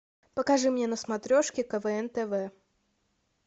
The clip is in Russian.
покажи мне на смотрешке квн тв